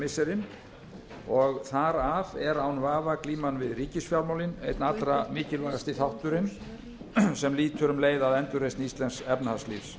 missirin og þar af eru án vafa glíman við ríkisfjármálin einn allra mikilvægasti þátturinn sem lýtur um leið að endurreisn íslensks efnahagslífs